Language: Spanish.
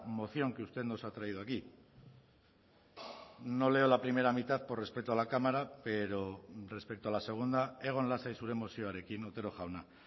moción que usted nos ha traído aquí no leo la primera mitad por respeto a la cámara pero respecto a la segunda egon lasai zure mozioarekin otero jauna